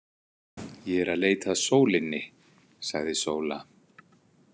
Ég er að leita að sólinni, sagði Sóla. „